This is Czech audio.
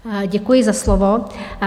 Děkuji za slovo.